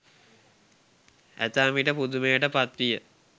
ඇතැම්විට පුදුමයට පත්විය.